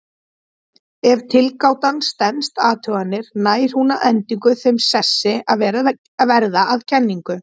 Ef tilgátan stenst athuganir nær hún að endingu þeim sessi að verða að kenningu.